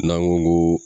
N'an ko ko